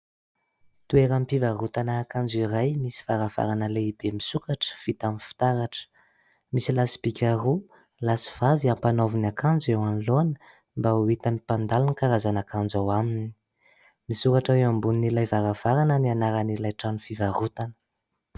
Toeram-pivarotana akanjo iray, misy varavarana lehibe misokatra vita amin'ny fitaratra. Misy lasi-bika roa lahy sy vavy ampanaoviny akanjo eo anoloany mba ho hitan'ny mpandalo ny karazana akanjo ao aminy. Misoratra eo amboni'ilay varavarana ny anaran'ilay trano fivarotana.